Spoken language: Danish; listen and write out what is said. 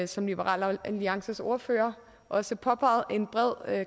som liberal alliances ordfører også påpegede at en bred